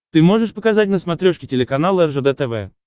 ты можешь показать на смотрешке телеканал ржд тв